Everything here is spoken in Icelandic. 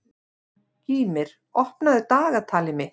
Gýmir, opnaðu dagatalið mitt.